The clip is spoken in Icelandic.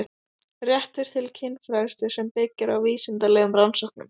Réttur til kynfræðslu sem byggir á vísindalegum rannsóknum